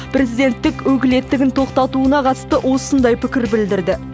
президенттік өкілеттігін тоқтатуына қатысты осындай пікір білдірді